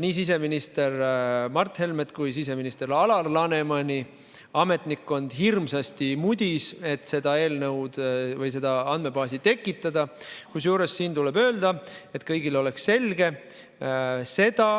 Nii siseminister Mart Helmet kui ka siseminister Alar Lanemani ametnikkond hirmsasti mudis, et seda andmebaasi tekitada, kusjuures siin tuleb öelda, et kõigile oleks selge: seda